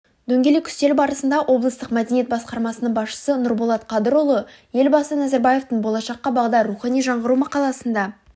дөңгелек үстел барысында облыстық мәдениет басқармасының басшысы нұрболат қадырұлы елбасы назарбаевтың болашаққа бағдар рухани жаңғыру мақаласында